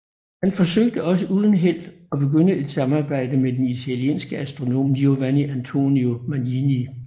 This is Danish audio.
Han forsøgte også uden held at begynde et samarbejde med den italienske astronom Giovanni Antonio Magini